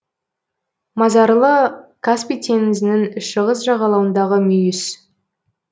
мазарлы каспий теңізінің шығыс жағалауындағы мүйіс